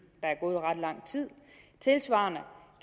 der er gået ret lang tid tilsvarende